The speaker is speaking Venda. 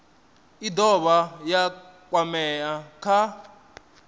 i dovha ya kwamea kha